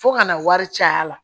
Fo kana wari caya la